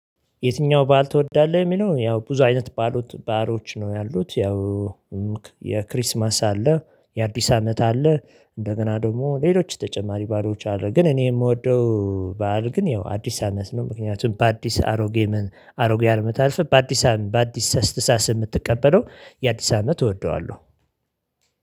የትኛው በዓል ትወዳለህ? የሚለው ያው ብዙ አይነት በዓሎች ነው ያሉት። ያው የክሪስማስ አለ፣ የአዲስ አመት አለ፣ እንደገና ደግሞ ሌሎች ተጨማሪ በዓሎች አለ። ግን እኔ ምወደው በዓል ግን ያው አዲስ አመት ነው። ምክንያቱም በአዲስ አሮጌ ምን አሮጌ አመት አልፎ በአዲስ አመት በአዲስ አስተሳሳስ ምትቀበለው የአዲስ አመት እወደዋለሁ።